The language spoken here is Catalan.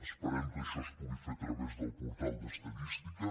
esperem que això es pugui fer a través del portal d’estadística